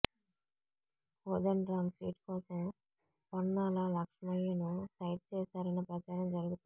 Kodandaram seat కోసం పొన్నాల లక్ష్మయ్యను side చేశారనే ప్రచారం జరుగుతోంది